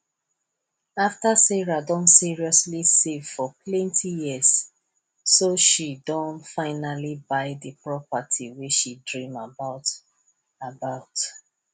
after sarah don seriously save for plenti years so she don finally buy the property wey she dream about about